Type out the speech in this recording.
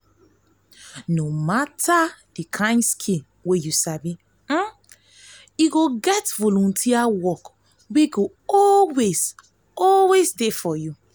no mata di kain skill wey yu get volunteer wok go always always dey for yu.